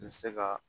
N bɛ se ka